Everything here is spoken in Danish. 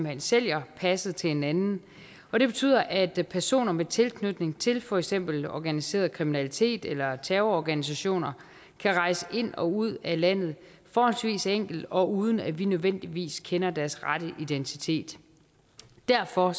hen sælger passet til en anden og det betyder at at personer med tilknytning til for eksempel organiseret kriminalitet eller terrororganisationer kan rejse ind og ud af landet forholdsvis enkelt og uden at vi nødvendigvis kender deres rette identitet derfor